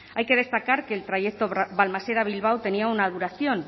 hay que destacar que el trayecto balmaseda bilbao tenía una duración